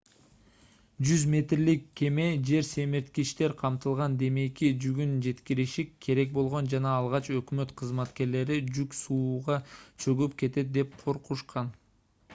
100 метрлик кеме жер семирткичтер камтылган демейки жүгүн жеткириши керек болгон жана алгач өкмөт кызматкерлери жүк сууга чөгүп кетет деп коркушкан